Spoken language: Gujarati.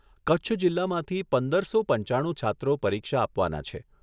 કચ્છ જિલ્લામાંથી પંદરસો પંચાણું છાત્રો પરીક્ષા આપવાના છે.